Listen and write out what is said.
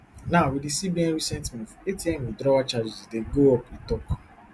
now wit di cbn recent move atm withdrawal charges dey go up e tok